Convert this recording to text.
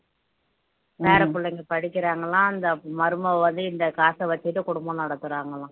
பேரப்புள்ளைங்க படிக்கறாங்களாம் இந்த மருமக வந்து இந்த காசை வச்சுட்டு குடும்பம் நடத்தறாங்களாம்